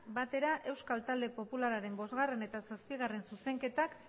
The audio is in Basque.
batera euskal talde popularraren bostgarrena eta zazpigarrena zuzenketak